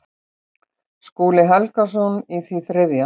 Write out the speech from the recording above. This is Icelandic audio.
Skúli Helgason í því þriðja.